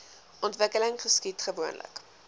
ontwikkeling geskied gewoonlik